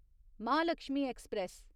Mahalakshmi express